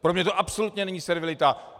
Pro mě to absolutně není servilita.